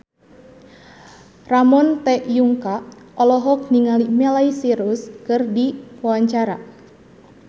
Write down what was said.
Ramon T. Yungka olohok ningali Miley Cyrus keur diwawancara